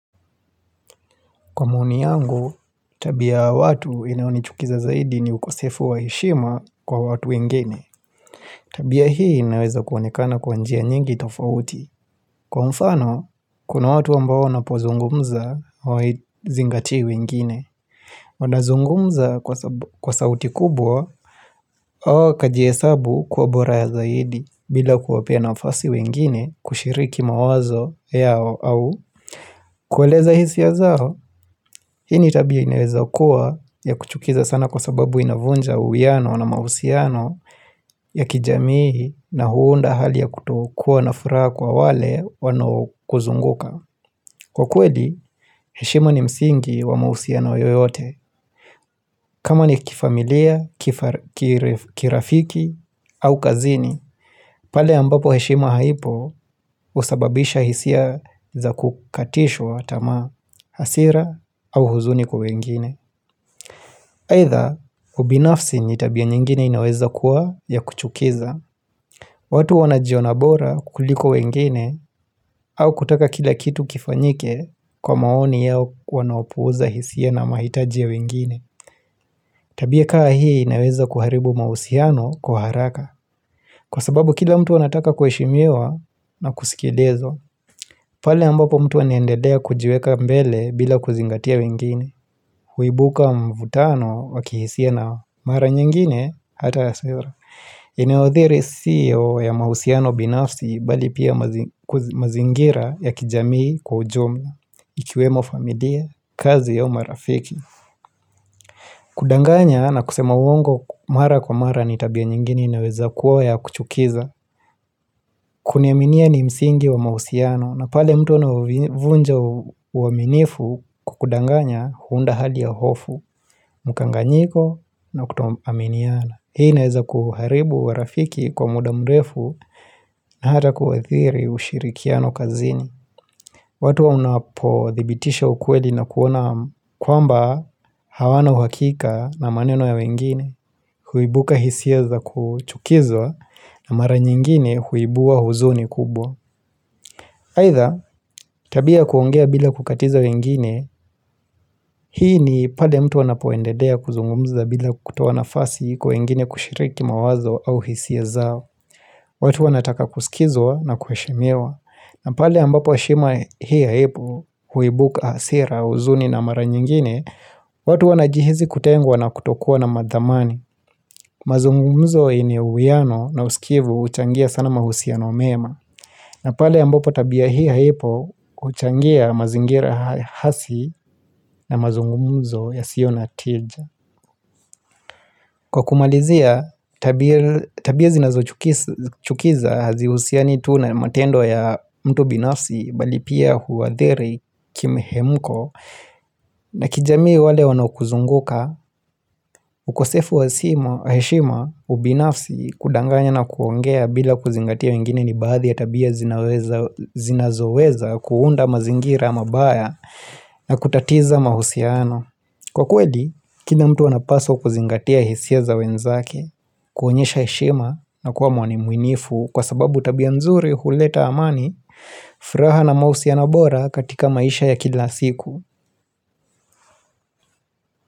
Kwa maoni yangu, tabia ya watu inayonichukiza zaidi ni ukosefu wa heshima kwa watu wengine. Tabia hii inaweza kuonekana kwa njia nyingi tofauti. Kwa mfano, kuna watu ambao wanapozungumza hawazingatii wengine. Wanazungumza kwa sauti kubwa, hawa wakajihesabu kuwa bora ya zaidi bila ya kuwapea nafasi wengine kushiriki mawazo yao au kueleza hisia zao. Hii ni tabia inaweza kuwa yakuchukiza sana kwa sababu inavunja uwiano na mahusiano ya kijamii na huunda hali ya kutokuwa na furaha kwa wale wanaokuzunguka. Kwa kweli, heshima ni msingi wa mahusiano yoyote. Kama ni kifamilia, kirafiki au kazini, pale ambapo heshima haipo husababisha hisia za kukatishwa tamaa, hasira au huzuni kwa wengine. Aidha ubinafsi ni tabia nyingine inaweza kuwa ya kuchukiza watu huwa wanajiona bora kuliko wengine au kutaka kila kitu kifanyike kwa maoni yao wanaopuuza hisia na mahitaji ya wengine Tabia ka hii inaweza kuharibu mahusiano kwa haraka, kwa sababu kila mtu anataka kuheshimiwa na kusikilizwa pale ambapo mtu anaendelea kujiweka mbele bila kuzingatia wengine Huibuka mvutano wa kihisia nao. Mara nyingine hata ya Inayothiri sio ya mahusiano binafsi bali pia mazingira ya kijamii kwa ujumla ikiwemo familia, kazi au marafiki kudanganya na kusema uongo mara kwa mara ni tabia nyingine inaweza kuwa ya kuchukiza Kuniaminia ni msingi wa mahusiano. Na pale mtu anauvunja uaminifu kwa kudanganya huunda hali ya hofu. Mkanganyiko na kutoaminiana. Hii inaweza kuharibu urafiki kwa muda mrefu na hata kuathiri ushirikiano kazini. Watu unapo thibitisha ukweli na kuona kwamba hawana uhakika na maneno ya wengine, huibuka hisia za kuchukizwa na mara nyingine huibua huzuni kubwa. Aidha, tabia kuongea bila kukatiza wengine, hii ni pale mtu anapoendelea kuzungumza bila kutoa nafasi kwa wengine kushiriki mawazo au hisia zao. Watu wanataka kusikizwa na kuheshimewa. Na pale ambapo heshima hii haipo huibuka hasira huzuni na mara nyingine watu wanajihisi kutengwa na kutokuwa na mathamani mazungumzo yenye uwiano na usikivu huchangia sana mahusiano mema na pale ambapo tabia hii haipo huchangia mazingira hasi na mazungumzo yasio na tija Kwa kumalizia, tabia zinazochukiza hazihusiani tu na matendo ya mtu binafsi bali pia huwaathiri kimhemko na kijamii wale wanaokuzunguka, ukosefu wa heshima, ubinafsi, kudanganya na kuongea bila kuzingatia wengine ni baadhi ya tabia zinaweza zinazoweza kuunda mazingira mabaya na kutatiza mahusiano. Kwa kweli, kila mtu anapaswa kuzingatia hisia za wenzake, kuonyesha heshima na kuwa mwaminifu kwa sababu tabia nzuri huleta amani, furaha na mahusiano bora katika maisha ya kila siku.